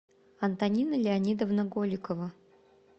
антонина леонидовна голикова